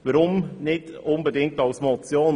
Warum nicht als Motion?